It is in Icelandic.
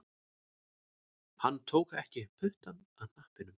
Hann tók ekki puttann af hnappinum